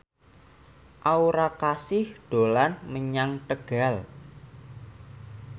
Aura Kasih dolan menyang Tegal